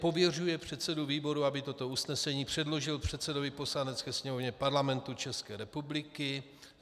Pověřuje předsedu výboru, aby toto usnesení předložil předsedovi Poslanecké sněmovny Parlamentu České republiky.